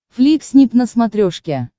фликснип на смотрешке